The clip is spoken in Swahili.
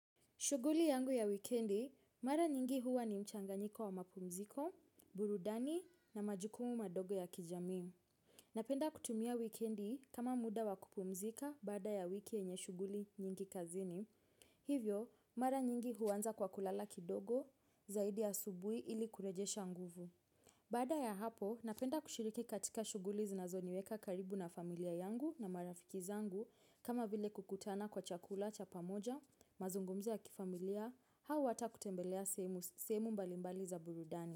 Shughuli yangu ya wikendi, mara nyingi huwa ni mchanganyiko wa mapumziko, burudani na majukumu madogo ya kijamii. Napenda kutumia wikendi kama muda wa kupumzika baada ya wiki yenye shughuli nyingi kazini. Hivyo, mara nyingi huanza kwa kulala kidogo zaidi asubuhi ili kurejesha nguvu. Baada ya hapo, napenda kushiriki katika shughuli zinazoniweka karibu na familia yangu na marafiki zangu kama vile kukutana kwa chakula cha pamoja, mazungumzo ya kifamilia, hau hata kutembelea sehemu sehemu mbali mbali za burudani.